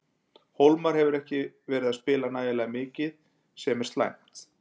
Hólmar hefur ekki verið að spila nægilega mikið sem er slæmt.